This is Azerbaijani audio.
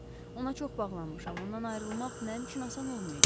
Ona çox bağlanmışam, ondan ayrılmaq mənim üçün asan olmayacaq.